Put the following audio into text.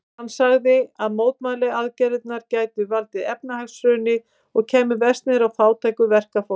Hann sagði að mótmælaaðgerðirnar gætu valdið efnahagshruni og kæmu verst niður á fátæku verkafólki.